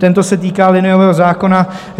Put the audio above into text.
Tento se týká liniového zákona.